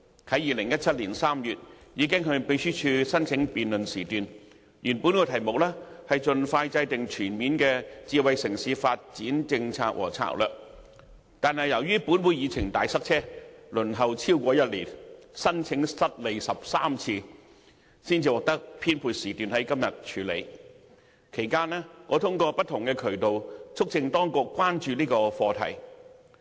在2017年3月，我已經向秘書處申請辯論時段，原本的議題是"盡快制訂全面的智能城市發展政策和策略"，但由於本會議程"大塞車"，在輪候超過1年，申請失利13次後，才獲得編配時段在今天處理，其間我通過不同渠道，促請當局關注這個課題。